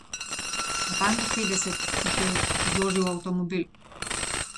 Natanko petdeset jih je zložil v avtomobil.